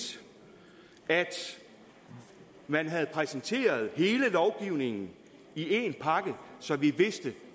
at man havde præsenteret hele lovgivningen i én pakke så vi vidste